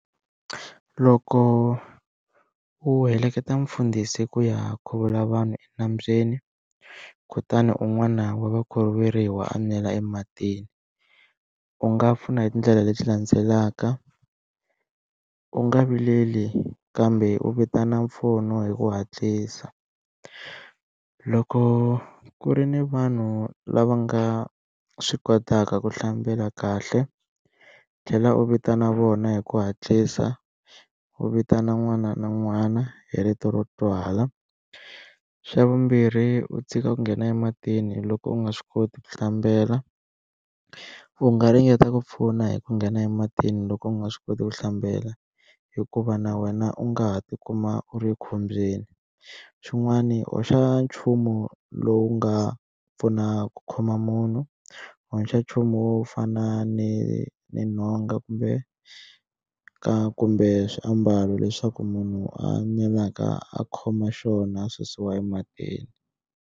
Loko u heleketa mufundhisi ku ya khuvula vanhu enambyeni kutani un'wana wa vakhuvuriwa a nwela ematini u nga pfuna hi tindlela leti landzelaka, u nga vileli kambe u vitana mpfuno hi ku hatlisa loko ku ri ni vanhu lava nga swi kotaka ku hlambela kahle u tlhela u vitana vona hi ku hatlisa u vitana n'wana na n'wana hi rito ro twala, xa vumbirhi u tshika ku nghena ematini loko u nga swi koti ku hlambela u nga ringeta ku pfuna hi ku nghena ematini loko u nga swi koti ku hlambela hikuva na wena u nga ha tikuma u ri ekhombyeni, xin'wani hoxa nchumu lowu nga pfuna ku khoma munhu hoxa nchumu fana ni ni nhonga kumbe ka kumbe swiambalo leswaku munhu a nwelaka a khoma xona a susiwa ematini.